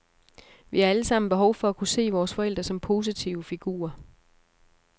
Vi har alle sammen behov for at kunne se vores forældre som positive figurer.